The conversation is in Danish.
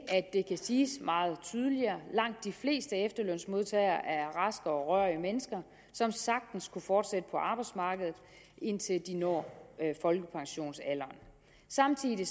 siges meget tydeligere langt de fleste efterlønsmodtagere er raske og rørige mennesker som sagtens kan fortsætte på arbejdsmarkedet indtil de når folkepensionsalderen samtidig